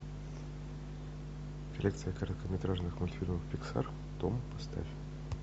коллекция короткометражных мультфильмов пиксар том поставь